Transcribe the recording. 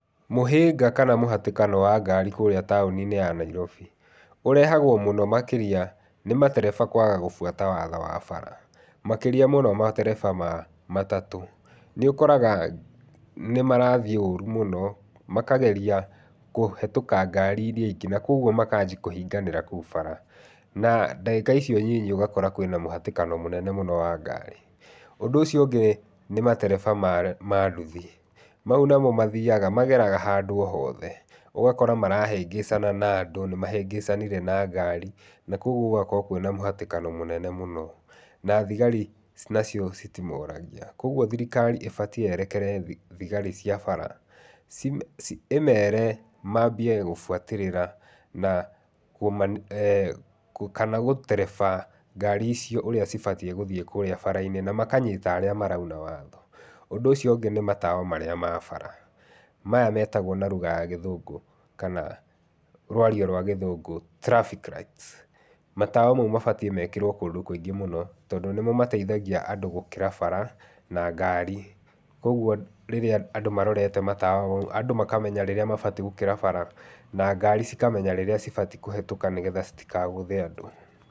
Mũhĩnga kana mũhatĩkano wa ngari kũrĩa taũni-inĩ ya Nairobi, ũrehagwo mũno makĩria nĩ matereba kwaga gũbuata mawatho ma bara. Makĩria mũno matereba ma matatũ. Nĩũkoraga nĩmarathiĩ ũru mũno, makageria kũhĩtũka ngari iria ingĩ, na koguo makanjia kũhinganĩra kũu bara, na ndagĩka icio nyinyi ũgakora kwĩna mũhatĩkano mũnene mũno wa ngari. Ũndũ ũcio ũngĩ, nĩ matereba ma nduthi. Mau namo mathiaga, mageraga handũ o hothe. Ũgakora marahĩngĩcana na andũ, nĩmahĩngĩcanire na ngari, na koguo gũgakorwo kwĩna mũhatĩkano mũnene mũno, na thigari nacio citimoragia. Koguo thirikari ĩbatiĩ yerekere thigari cia bara, ĩmere mambie gũbuatĩrĩra na kana gũtereba ngari icio ũrĩa cibatiĩ gũthiĩ kũrĩa barainĩ, namakanyita arĩa marauna watho. Ũndũ ũcio ũngĩ nĩ matawa marĩa ma bara, maya metagwo na ruga ya gĩthũngũ kana rwario rwa gĩthũngũ traffic lights Matawa mau mabataiĩ mekĩrwo kũndũ kũingĩ mũno, tondũ nĩmo mataithagia andũ gũkĩra bara, na ngari, koguo rĩrĩa andũ marorete matawa mau, andũ makamenya rĩrĩa mabatiĩ gũkĩra bara, na ngari cikamenya rĩrĩa cibatiĩ kũhĩtũka nĩgetha citikagũthe andũ.